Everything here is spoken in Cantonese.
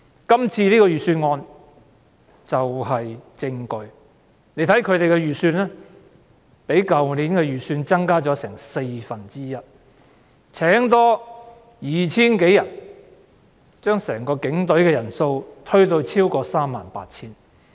這次的財政預算案便是證據，警務處的預算開支較去年的預算開支增加四分之一，增聘 2,000 多人，將整個警隊的人數推至超過 38,000 人。